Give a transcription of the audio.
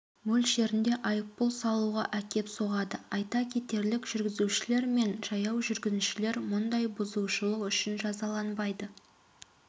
мөлшерінде айыппұл салуға әкеп соғады айта кетерлік жүргізушілер мен жаяу жүргіншілер мұндай бұзушылық үшін жазаланбайды